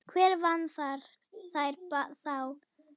Hver vann þær þá?